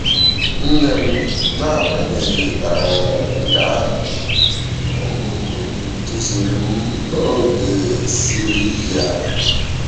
Nne m, n’agbanyeghị um nke ahụ, um duziri m n’oge siri ike a.